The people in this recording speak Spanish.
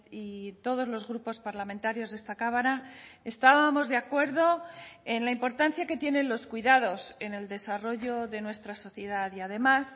y todos los grupos parlamentarios de esta cámara estábamos de acuerdo en la importancia que tienen los cuidados en el desarrollo de nuestra sociedad y además